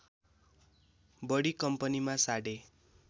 बढी कम्पनीमा साढे